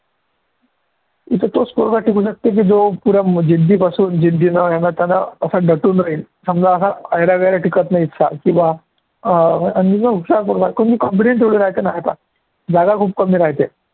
इथे तोच पोरगा टिकू शकतो, की जो पुरा जिद्दीपासून जिद्दी नं हयानं त्यानं असा दटून राहील समजा असा ऐरागेरा टिकतं नाही इतका की बा अं आणि ना हुशार पोरगा कोणी नाही तर नाही, जागा खूप कमी राहते.